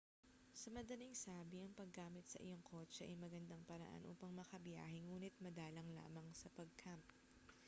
sa madaling sabi ang paggamit sa iyong kotse ay magandang paraan upang makabiyahe ngunit madalang lamang sa pag-camp